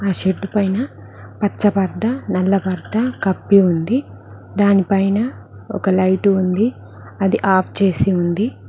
ఆ షెడ్డు పైన పచ్చబడ్డ నల్ల బట్ట కప్పబడి ఉంది దానిపైన ఒక లైట్ ఉంది అది ఆఫ్ చేసి ఉంది.